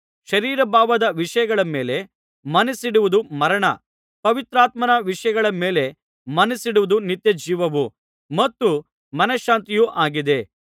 ಶರೀರಭಾವದ ವಿಷಯಗಳ ಮೇಲೆ ಮನಸ್ಸಿಡುವುದು ಮರಣ ಪವಿತ್ರಾತ್ಮನ ವಿಷಯಗಳ ಮೇಲೆ ಮನಸ್ಸಿಡುವುದು ನಿತ್ಯಜೀವವೂ ಮತ್ತು ಮನಶಾಂತಿಯೂ ಆಗಿದೆ